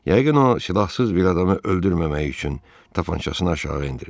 Yəqin o silahsız bir adamı öldürməmək üçün tapançasını aşağı endirib.